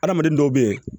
Adamaden dɔw bɛ yen